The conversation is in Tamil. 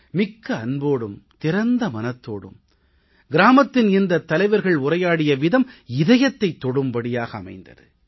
மிக்க அன்போடும் திறந்த மனதோடும் கிராமத்தின் இந்தத் தலைவர்கள் உரையாடிய விதம் இதயத்தைத் தொடும்படியாக அமைந்தது